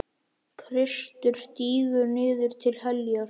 Kristur stígur niður til heljar.